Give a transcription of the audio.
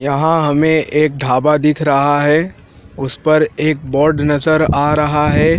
यहां हमें एक ढाबा दिख रहा है उस पर एक बोर्ड नजर आ रहा है।